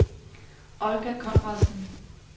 Olga Conradsen